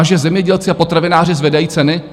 A že zemědělci a potravináři zvedají ceny?